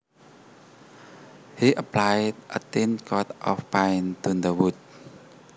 He applied a thin coat of paint to the wood